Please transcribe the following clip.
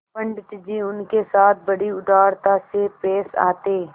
पंडित जी उनके साथ बड़ी उदारता से पेश आते